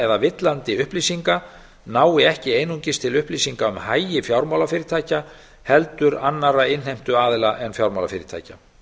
eða villandi upplýsinga nái ekki einungis til upplýsinga um hagi fjármálafyrirtækja heldur annarra innheimtuaðila en fjármálafyrirtækja